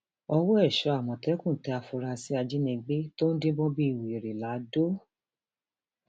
ọwọ èso um àmọtẹkùn tẹ àfúráṣí ajínigbé tó ń díbọn bíi wèrè um lodò